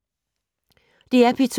DR P2